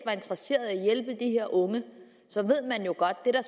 interesseret i at hjælpe de her unge så ved man jo godt at